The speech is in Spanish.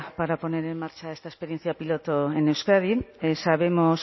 para poner en marcha esta experiencia piloto en euskadi sabemos